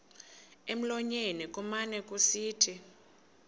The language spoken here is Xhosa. emlonyeni kumane kusithi